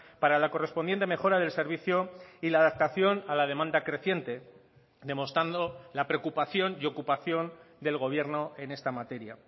para la correspondiente mejora del servicio y la adaptación a la demanda creciente demostrando la preocupación y ocupación del gobierno en esta materia